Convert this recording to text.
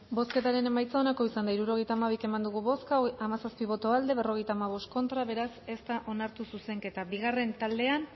bozketaren emaitza onako izan da hirurogeita hamabi eman dugu bozka hamazazpi boto aldekoa cincuenta y cinco contra beraz ez da onartu zuzenketa bigarren taldean